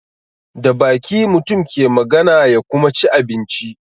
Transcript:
Da baki mutum ke magana ya kuma ci abinci.